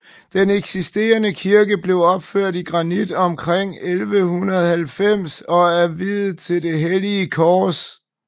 Den eksisterende kirke blev opført i granit omkring 1190 og er viet til det hellige kors